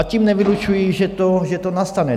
A tím nevylučuji, že to nastane.